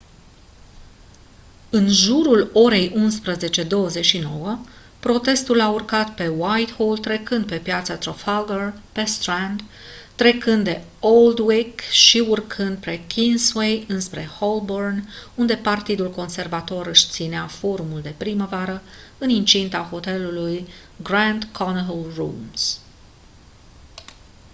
în jurul orei 11:29 protestul a urcat pe whitehall trecând de piața trafalgar pe strand trecând de aldwych și urcând pe kingsway înspre holborn unde partidul conservator își ținea forumul de primăvară în incinta hotelului grand connaught rooms